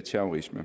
terrorisme